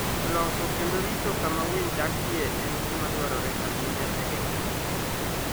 Loso kendo rito kama winy dakie en gima dwarore ahinya e geng'o tuoche.